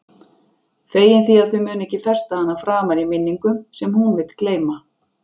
Fegin því að þau munu ekki festa hana framar í minningum sem hún vill gleyma.